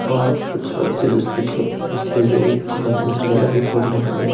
और कुछ बच्चे दूसरी खे दूसरी भी खेल दूसरी जगह भी खेल रहे हैं।